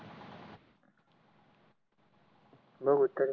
बगु तरी